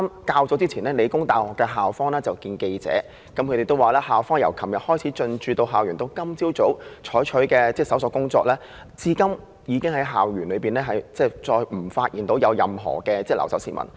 較早前，理大校方會見記者，表示由昨天進駐校園至今早，一直進行搜索，現時已再無發現任何留守市民。